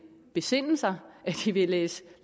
besinde sig at de vil læse